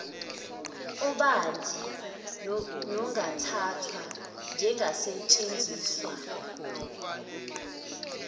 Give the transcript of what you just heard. obanzi nongathathwa njengasetshenziswa